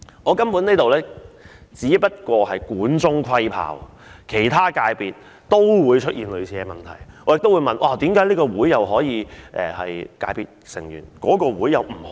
我根本只能管中窺豹，其他界別也會出現類似的問題，為何這個商會可以成為界別成員，那一個卻不可以？